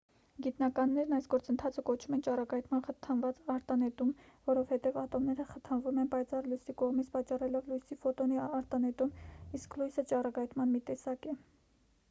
գիտնականներն այս գործընթացը կոչում են ճառագայթման խթանված արտանետում որովհետև ատոմները խթանվում են պայծառ լույսի կողմից պատճառելով լույսի ֆոտոնի արտանետում իսկ լույսը ճառագայթման մի տեսակ է